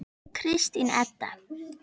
Kristín Edda.